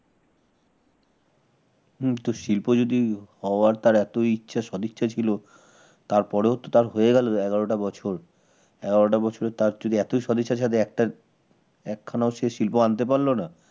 হম তোশিল্প যদি হওয়ার তার ইচ্ছা সদিচ্ছা ছিল তার পরেও তার হয়ে গেল এগারোটা বছর এগারোটা টা বছরে তার যদি এতই সদিচ্ছা থাকে একটাও একখানাও শিল্প আনতে পারল না